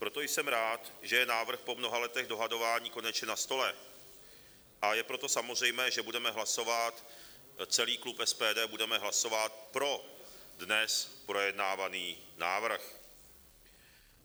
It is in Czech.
Proto jsem rád, že je návrh po mnoha letech dohadování konečně na stole, a je proto samozřejmé, že budeme hlasovat, celý klub SPD budeme hlasovat pro dnes projednávaný návrh.